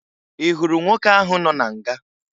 Ị hụrụ nwoke ahụ nọ na nga?